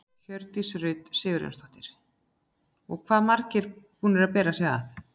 Hjördís Rut Sigurjónsdóttir: Og hvað margir búnir að bera sig?